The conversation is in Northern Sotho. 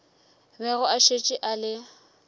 bego a šetše a le